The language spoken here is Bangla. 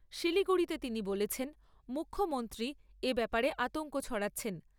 শিলিগুড়িতে তিনি বলেছেন, মুখ্যমন্ত্ৰীই এ ব্যাপারে আতঙ্ক ছড়াচ্ছেন।